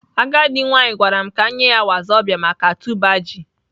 Agadi nwanyi gwaram ka m nye ya wazobia maka tuber ji.